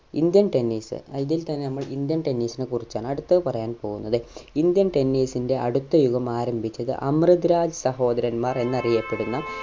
indian tennis ഇതിൽ തന്നെ നമ്മൾ indian tennis നെ കുറിച്ചാണ് അടുത്തത് പറയാൻ പോകുന്നത് indian tennis ന്റെ അടുത്ത യുഗം ആരംഭിച്ചത് അമ്രുത് രാജ് സഹോദരന്മാർ എന്നറിയപ്പെടുന്ന